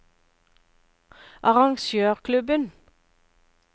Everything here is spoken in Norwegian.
arrangørklubben